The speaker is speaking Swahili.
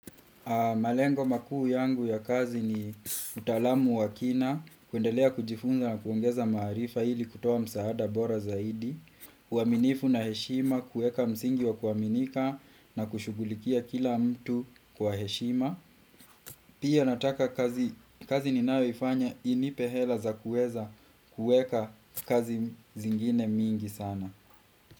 Malengo makuu yangu ya kazi ni utalamu wakina, kuendelea kujifunza na kuongeza maarifa ili kutoa msaada bora zaidi, uaminifu na heshima, kuweka msingi wa kuaminika na kushugulikia kila mtu kwa heshima. Pia nataka kazi ninayoifanya inipe hela za kueza kueka kazi zingine mingi sana.